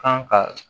Kan ka